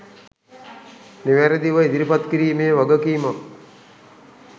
නිවැරදිව ඉදිරිපත් කිරීමේ වගකීමක්